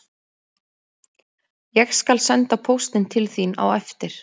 Ég skal senda póstinn til þín á eftir